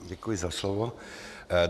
Děkuji za slovo.